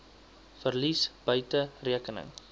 verlies buite rekening